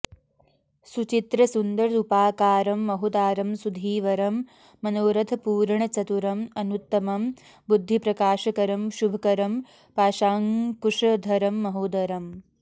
सुचित्र सुन्दर रूपाकारं महोदारं सुधीवरं मनोरथ पूरण चतुरं अनुत्तम बुद्धिप्रकाशकरं शुभकरं पाशाङ्कुशधरं महोदरम्